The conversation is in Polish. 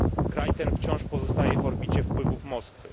Kraj ten wciąż pozostaje w orbicie wpływów Moskwy.